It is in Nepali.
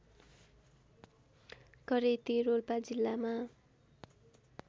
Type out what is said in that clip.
करेती रोल्पा जिल्लामा